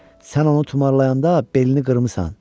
Sən onu tumarlayanda belini qırmısan.